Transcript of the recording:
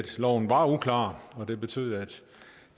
loven var uklar og det betød